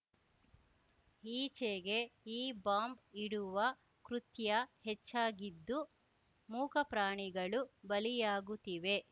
ಈಚೆಗೆ ಈ ಬಾಂಬ್‌ ಇಡುವ ಕೃತ್ಯ ಹೆಚ್ಚಾಗಿದ್ದು ಮೂಕ ಪ್ರಾಣಿಗಳು ಬಲಿಯಾಗುತ್ತಿವೆ